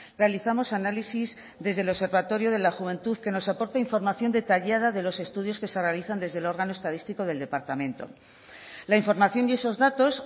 realizamos análisis desde el observatorio de la juventud que nos aporta información detallada de los estudios que se realizan desde el órgano estadístico del departamento la información y esos datos